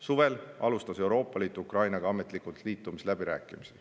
Suvel alustas Euroopa Liit Ukrainaga ametlikult liitumisläbirääkimisi.